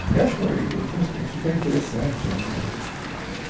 Eu acho que foi foi uma experiência super interessante a minha